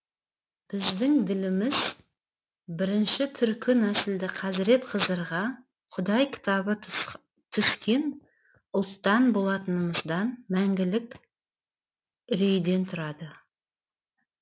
біздің діліміз бірінші түркі нәсілді қазіреті қызырға құдай кітабы түскен ұлттан болғанымыздан мәңгілік үрейден тұрады